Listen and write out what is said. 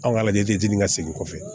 An ka lajɛ ka segin kɔfɛ